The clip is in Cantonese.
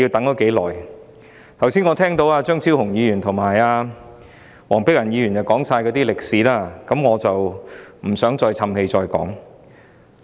我剛才聽到張超雄議員和黃碧雲議員說出《條例草案》的歷史，我不想再說一遍。